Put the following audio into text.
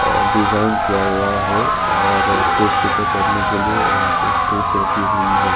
Design किया हुआ है और के लिए वापस ठीक रखी हुई है।